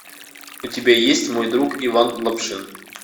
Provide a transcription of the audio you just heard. у тебя есть мой друг иван лапшин